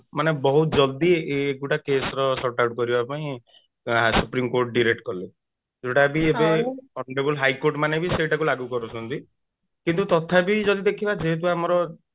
ମାନେ ବହୁତ ଜଲଦି ଏଇ ଗୁଡା case ରେ short out କରିବାପାଇଁ supreme court direct କଲେ ଯୋଉଟା କି ଏବେ honorable high court ମାନେ ବି ସେଇଟାକୁ ଲାଗୁ କରୁଛନ୍ତି କିନ୍ତୁ ତଥାପି ଯଦି ଦେଖିବା ଯେହେତୁ ଆମର